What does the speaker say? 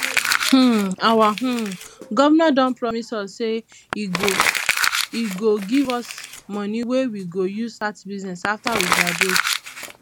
um our um governor don promise us say he go he go give us money wey we go use start business after we graduate